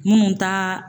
Minnu ta